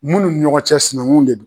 Munnu ɲɔgɔn cɛ sinaŋunw de do